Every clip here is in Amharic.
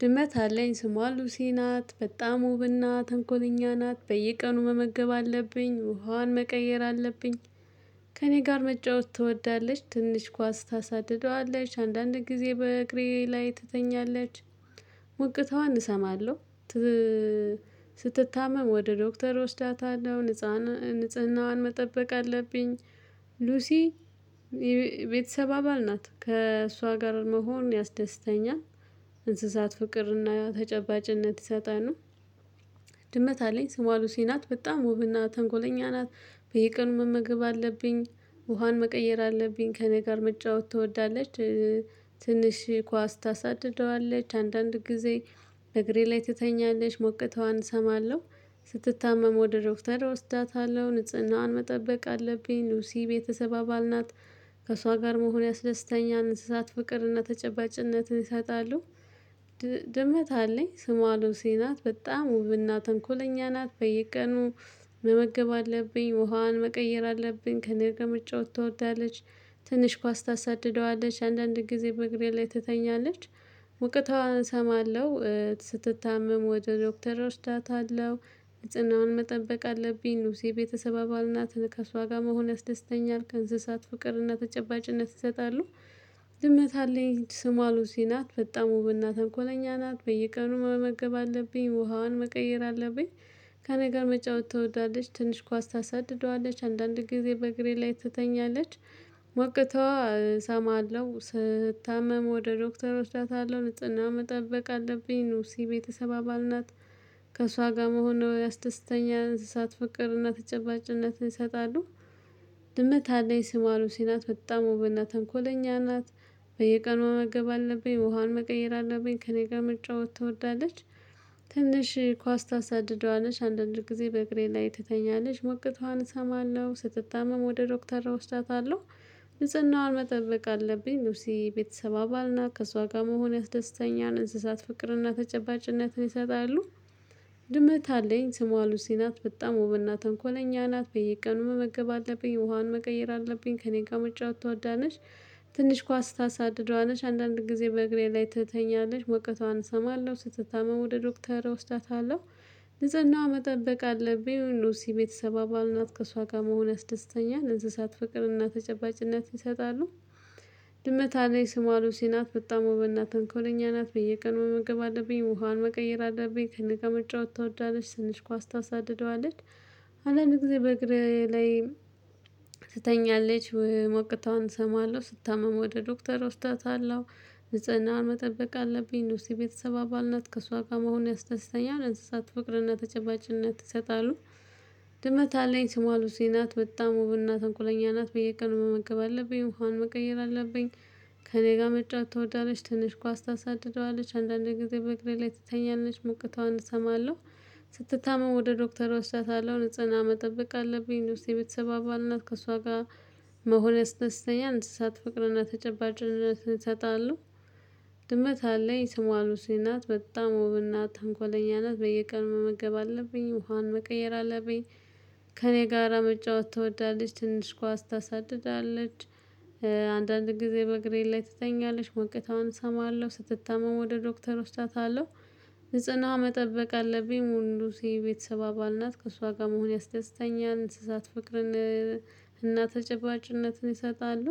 ድመት አለኝ ስሟ ሉሲ ናት በጣም ውብና ተንኮለኛ ናት በየቀኑ መመገብ አለብኝ ውሃዋን መቀየር አለብኝ ከእኔ ጋር መጫወት ትወዳለች ትንሽ ኳስ ታሳድደዋለች አንዳንድ ጊዜ በእግሬ ላይ ትተኛለች ሙግቷን እሰማለሁ ስትታመም ወደ ዶክተር እወስዳታለሁ ንፃን ንጽህናዋን መጠበቅ አለብኝ ሉሲ ቤተሰብ አባል ናት ከእሷ ጋር መሆን ያስደስተኛል እንስሳት ፍቅርና ተጨባጭነት ይሰጣል ነው ድመት አለኝ ስሟ ሉሲ ናት በጣም ውብና ተንኮለኛ ናት በየቀኑ መመገብ አለብኝ ውሃን መቀየር አለብኝ ከእኔ ጋር መጫወት ትወዳለች ትንሽ ኳስ ታሳድደዋለች አንዳንድ ጊዜ በእግሬ ላይ ትተኛለች ሞቅተዋን እሰማለሁ ስትታመም ወደ ዶክተር እወስዳታለሁ ንጽህናዋን መጠበቅ አለብኝ ሉሲ ቤተሰብ አባል ናት ከእሷ ጋር መሆን ያስደስተኛል እንስሳት ፍቅርና ተጨባጭነትን ይሰጣሉ ድመት አለኝ ስሟ ሉሲ ናት በጣም ውብና ተንኮለኛ ናት በየቀኑ መመገብ አለብኝ ውሃዋን መቀየር አለብኝ ከኔጋ መጫወት ትወዳለች ትንሽ ኳስ ታሳድደዋለች አንዳንድ ጊዜ በእግሬ ላይ ትተኛለች ውቅታዋን እሰማለሁ ስትታመም ወደ ዶክተር ኦወስዳታለሁ ልጽናውን መጠበቅ አለብኝ ሉሲ የቤተሰብ አባል ናት ከሷ ጋር መሆን ያስደስተኛል ከእንስሳት ፍቅርና ተጨባጭነት ይሰጣሉ ድመት አለኝ ስሟ ሉሲ ናት በጣም ውብና ተንኮለኛ ናት በየቀኑ መመገብ አለብኝ ውሃዋን መቀየር አለብኝ ከኔጋ መጫወት ትወዳለች ትንሽ ኳስ ታሳድደዋለች አንዳንድ ጊዜ በእግሬ ላይ ትተኛለች ሞቅተዋ እሰማለሁ ስታመም ወደ ዶክተሮች ታታለው ንጽህና መጠበቅ አለብኝ ኑሲ ቤተሰብ አባል ናት ከእሷ ጋር መሆኑ ያስደስተኛ እንስሳት ፍቅርና ተጨባጭነትን ይሰጣሉ ድመት አለኝ ስሟ ሉሲ ናት በጣም ውብና ተንኮለኛ ናት። በየቀኑ መመገብ አለብኝ ውሃን መቀየር አለብኝ ከእኔ ጋር መጫወት ትወዳለች። ትንሽ ኳስ ታሳድደዋለች አንዳንድ ጊዜ በእግሬ ላይ ትተኛለች። ሞቀቷን እሰማለሁ ስትታመም ወደ ዶክተር እወስዳታለሁ። ብጽናዋን መጠለቅ አለብኝ። ሉሲ የቤተሰብ አባልና ከእሷ ጋር መሆን ያስደስተኛል እንስሳት ፍቅርና ተጨባጭነትን ይሰጣሉ። ድመት አለኝ። ስሟ ሉሲ ናት። በጣም ውብና ተንኮለኛ ናት። በየቀኑ መመገብ አለብኝ ውሃን መቀየር አለብኝ ከእኔ ጋር መጫወት ትወዳለሽ። ትንሽ ኳስ ታሳድደዋለሽ። አንዳንድ ጊዜ በእግሬ ላይ ትተኛለሽ። ሞቀቷን እሰማለሁ። ስትታመ ወደ ዶክተር እወስዳታለሁ። ንጽናዋ መጠበቅ አለብኝ። ሉሲ ቤተሰብ አባል ናት። ከእሷ ጋር መሆን አስደስተኛል። እንስሳት ፍቅርና ተጨባጭነት ይሰጣሉ። ድመት አለኝ። ስሟ ሉሲ ናት። በጣም ውብና ተንኮለኛ ናት። በየቀኑ መመገብ አለብኝ። ውሃን መቀየር አለብኝ። ከኔ ጋር መጫወት ታወዳለች። ትንሽ ኳስ ታሳድደዋለች። አንዳንድ ጊዜ በእግሬ ላይ ትተኛለች ሞቅታዋን እሰማለሁ። ስታምም ወደ ዶክተር ወስዳታለሁ። ንጽናዋን መጠበቅ አለብኝ። ሉሲ የቤተሰብ አባል ናት። ከሷ ጋር መሆን ያስደስተኛል። እንስሳት ፍቅርና ተጨባጭነት ይሰጣሉ። ድመት አለኝ ስሟ ሉሲ ናት። በጣም ውብና ተንኮለኛ ናት። በየቀኑ መመገብ አለብኝ። ውሃን መቀየር አለብኝ። ከእኔ ጋር መጫወት ትወዳለች። ትንሽ ኳስ ታሳድደዋለች። አንዳንድ ጊዜ በእግሬ ላይ ትተኛለች። ሞቅታዋን እሰማለሁ። ስትታመም ወደ ዶክተር እወስዳታለሁ። ንጽህና መጠበቅ አለብኝ። ሉሲ የቤተሰብ አባል ናት። ከእሷ ጋር መሆን ያስድስተኛል። እንስሳት ፍቅርና ተጨባጭነት እሰጣለሁ። ድመት አለኝ ስሟ ሉሲ ናት። በጣም ውብና ተንኮለኛ ናት። በየቀኑ መመገብ አለብኝ። ውሃን መቀየር አለብኝ። ከእኔ ጋር መጨወት ትወዳለች። ትንሽ ኳስ ታሳድዳለች። አንዳንድ ጊዜ በእግሬ ላይ ትተኛለች። ሞቅታውን እሰማለሁ። ስትታመም ወደ ዶክተር ወስዳታለሁ። ንጽና መጠበቅ አለብኝ። ሙሉሲ የቤተሰብ አባል ናት። ከእሷ ጋር መሆን ያስደስተኛል። እንስሳት ፍቅርን እና ተጨባጭነትን ይሰጣሉ።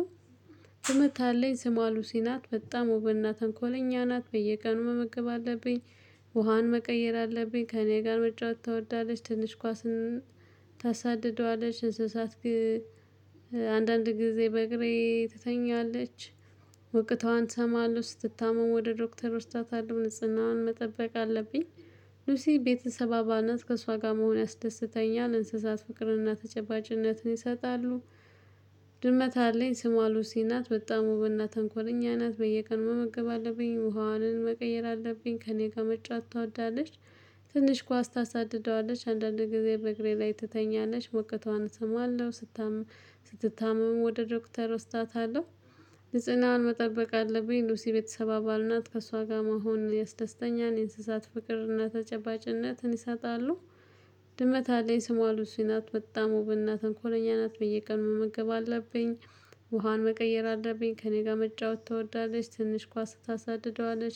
ድመት አለኝ። ስሟ ሉሲ ናት። በጣም ውብና ተንኮለኛ ናት። በየቀኑ መመገብ አለብኝ። ውሃን መቀየር አለብኝ። ከእኔ ጋር መጫወት ታወዳለች። ትንሽ ኳስን ታሳድደዋለች። እንስሳት አንዳንድ ጊዜ በእግሬ ትተኛለች። ሞቀቷን ትሰማለሁ። ስትታመም ወደ ዶክተር ወስዳታለሁ። ንጽህናዋን መጠበቅ አለብኝ። ሉሲ የቤተሰብ አባል ናት። ከእሷ ጋር መሆን ያስደስተኛል። እንስሳት ፍቅርና ተጨባጭነትን ይሰጣሉ። ድመት አለኝ። ስሟ ሉሲ ናት። በጣም ውብና ተንኮለኛ ናት። በየቀኑ መመገብ አለብኝ። ውሃዋንን መቀየር አለብኝ። ከእኔ ጋር መጨወት ትወዳለች። ትንሽ ኳስ ታሳድደዋለች። አንዳንድ ጊዜ በእግሬ ላይ ትተኛለሽ። ሞቅቷን እሰማለሁ። ስትታመም ወደ ዶክተር እወስዳታለሁ። ንጽናዋን መጠበቅ አለብኝ። ሉሲ የቤተሰብ አባል ናት። ከእሷ ጋር መሆን ያስደስተኛል። እንስሳት ፍቅር እና ተጨባጭነትን ይሰጣሉ። ድመት አለኝ። ስሟ ሉሱ ናት። በጣም ውብና ተንኮለኛ ናት። በየቀኑ መመገብ አለብኝ። ውሃን መቀየር አለብኝ። ከእኔ ጋር መጨወት ትወዳለች። ትንሽ ኳስ ታሳድደዋለች።